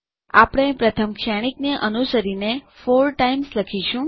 આપણે પ્રથમ શ્રેણિકને અનુસરીને 4 ટાઇમ્સ લખીશું